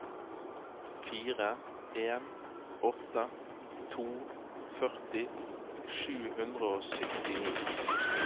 fire en åtte to førti sju hundre og syttini